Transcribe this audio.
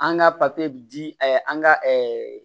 An ka di an ka